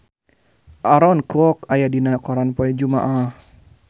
Aaron Kwok aya dina koran poe Jumaah